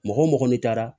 Mɔgɔ mɔgɔ ni taara